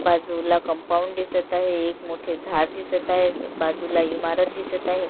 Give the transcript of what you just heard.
बाजूला कंपाऊंड दिसत आहे एक मोठे झाड दिसत आहे बाजूला इमारत दिसत आहे.